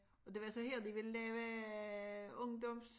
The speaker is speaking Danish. Og det var så her de ville lave ungdoms